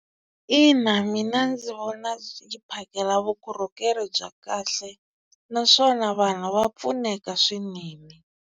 Ina mina ndzi vona yi phakela vukorhokeri bya kahle naswona vanhu va pfuneka swinene.